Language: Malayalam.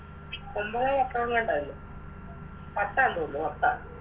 ഒമ്പതോ പത്തോ എങ്ങണ്ട ഇന്ന് പത്താന്തോന്നു പത്താ